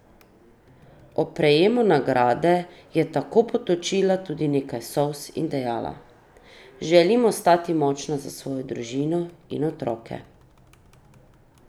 Ob prejemu nagrade je tako potočila tudi nekaj solz in dejala: "Želim ostati močna za svojo družino in otroke.